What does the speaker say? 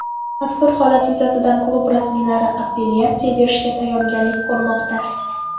Mazkur holat yuzasidan klub rasmiylari apellyatsiya berishga tayyorgarlik ko‘rmoqda.